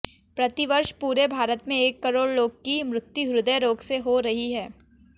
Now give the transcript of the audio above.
प्रतिवर्ष पूरे भारत में एक करोड़ लोग की मृत्यु ह्दय रोग से हो रही है